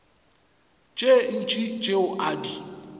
tše ntši tšeo a di